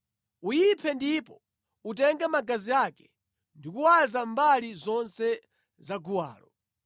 Uyiphe ndipo utenge magazi ake ndi kuwaza mbali zonse zaguwalo.